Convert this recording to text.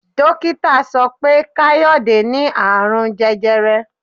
Dókítà sọ pé Káyọ̀dé ní Ààrùn jẹjẹrẹ.